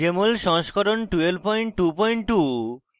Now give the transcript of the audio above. jmol সংস্করণ 1222